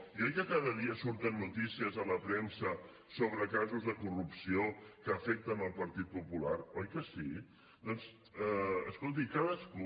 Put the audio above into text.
i oi que cada dia surten notícies a la premsa sobre casos de corrupció que afecten el partit popular oi que sí doncs escolti cadascú